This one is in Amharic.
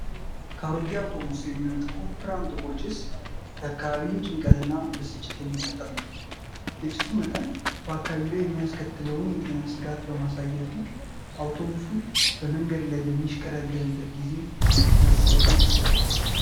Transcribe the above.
ከአሮጌ አውቶቡስ የሚወጣው ወፍራም ጥቁር ጭስ የአካባቢን ጭንቀትና ብስጭት የሚፈጥር ነው። የጭሱ መጠን በአካባቢው ላይ የሚያስከትለውን የጤና ስጋት በማሳየቱ፣ አውቶቡሱ በመንገድ ላይ በሚሽቀዳደምበት ጊዜ መጸየፍን ያስከትላል።